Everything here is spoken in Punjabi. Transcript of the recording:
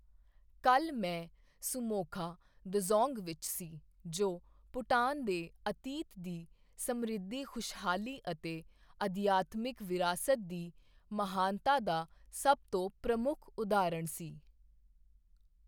ਕੱਲ੍ਹ, ਮੈਂ ਸੂਮੋਖਾ ਦਜ਼ੋਂਗ ਵਿੱਚ ਸੀ, ਜੋ ਭੂਟਾਨ ਦੇ ਅਤੀਤ ਦੀ ਸਮ੍ਰਿੱਧੀ ਖੁਸ਼ਹਾਲੀ ਅਤੇ ਅਧਿਆਤਮਿਕ ਵਿਰਾਸਤ ਦੀ ਮਹਾਨਤਾ ਦਾ ਸਭ ਤੋਂ ਪ੍ਰਮੁੱਖ ਉਦਾਹਰਣ ਸੀ।